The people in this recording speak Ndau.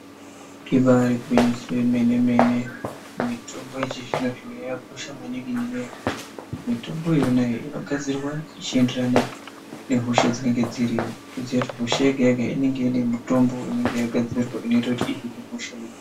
Ibari gwinyiso remene mene mitombo yechizvino zvino yakakosha maningi ngekuti mitombo yona iyi inogadzirwa ichienderana nehosha dzinenge dziriyo kutoziya kuti hosha yega inenge ine mutomba inenge yakagadzirwa inoita kuhina hosha.